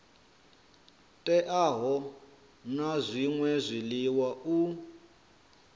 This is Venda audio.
teaho na zwṅwe zwiḽiwa u